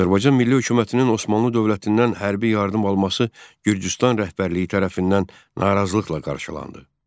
Azərbaycan Milli Hökumətinin Osmanlı dövlətindən hərbi yardım alması Gürcüstan rəhbərliyi tərəfindən narazılıqla qarşılandı.